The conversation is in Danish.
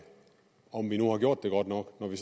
om vi nu har gjort det godt nok når vi